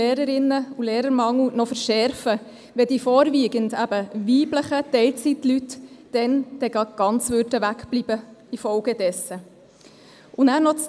Dann nämlich, wenn die vorwiegend weiblichen Teilzeitangestellten in der Folge ganz wegbleiben.